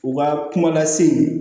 U ka kuma lase